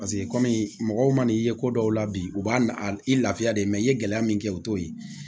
Paseke kɔmi mɔgɔw man n'i ye ko dɔw la bi u b'a i lafiya de i ye gɛlɛya min kɛ o t'o ye